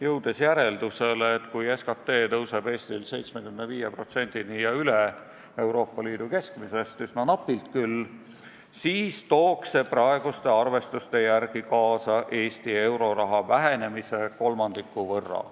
Jõuti järeldusele, et kui SKT tõuseb Eestis 75%-ni Euroopa Liidu keskmisest ja üle sellegi – üsna napilt küll –, siis tooks see praeguste arvestuste järgi kaasa Eesti euroraha vähenemise kolmandiku võrra.